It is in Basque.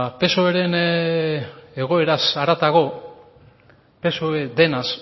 psoeren egoeraz haratago psoe denaz